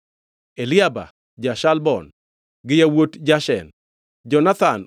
Eliaba ja-Shalbon, gi yawuot Jashen, Jonathan